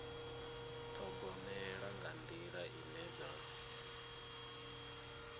ṱhogomela nga nḓila ine dza